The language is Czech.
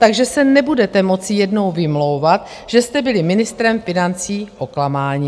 Takže se nebudete moci jednou vymlouvat, že jste byli ministrem financí oklamáni.